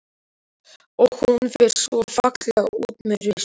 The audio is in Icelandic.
Og hún fer svo fallega út með rusl.